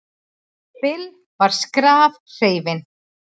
Bill var skrafhreifinn.